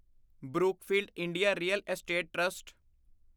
Brookfield India real estate trust